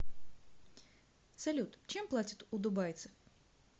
салют чем платят у дубайцев